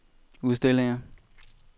udstillinger